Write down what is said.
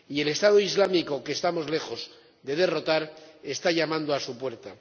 y el Estado Islámico, que estamos lejos de derrotar, está llamando a su puerta.